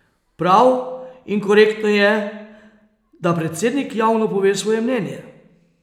Prav in korektno je, da predsednik javno pove svoje mnenje.